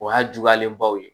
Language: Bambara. O y'a juguyalen baw ye